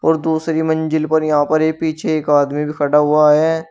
और दूसरी मंजिल पर यहां पर ये पीछे एक आदमी भी खड़ा हुआ है।